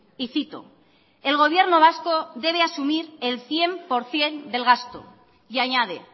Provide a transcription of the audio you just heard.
y cito el gobierno vasco debe asumir el cien por ciento del gasto y añade